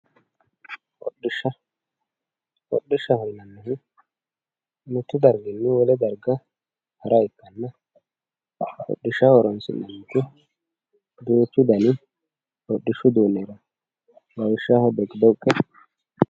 hodhishsha. hodhishshaho yinanniri mittu darginni wole darga hara ikkanna hodhishshaho horoonsi'neemmoti duuchu dani hodhishu uduunni heerawoo lawishshaho dhoqidhoqqe